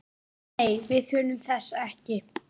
Nei, við þurfum þess ekki.